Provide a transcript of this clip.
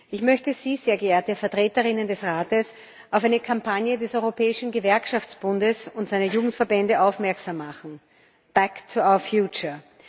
Ich möchte Sie, sehr geehrte Vertreterinnen des Rates, auf eine Kampagne des Europäischen Gewerkschaftsbundes und seiner Jugendverbände aufmerksam machen Back to our Future